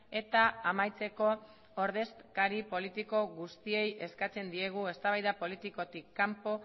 eta amaitzeko ordezkari politiko guztiei eskatzen diegu eztabaida politikatik kanpo